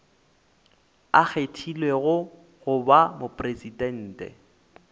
a kgethilwego go ba mopresidente